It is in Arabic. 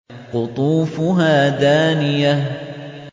قُطُوفُهَا دَانِيَةٌ